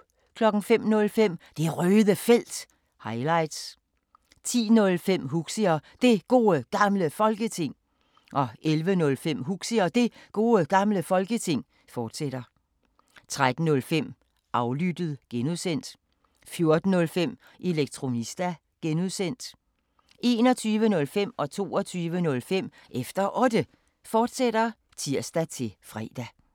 05:05: Det Røde Felt – highlights 10:05: Huxi og Det Gode Gamle Folketing 11:05: Huxi og Det Gode Gamle Folketing, fortsat 13:05: Aflyttet (G) 14:05: Elektronista (G) 21:05: Efter Otte, fortsat (tir-fre) 22:05: Efter Otte, fortsat (tir-fre)